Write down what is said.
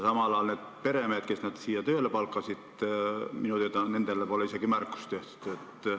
Samal ajal nendele peremeestele, kes nad siia tööle palkasid, pole minu teada isegi märkust tehtud.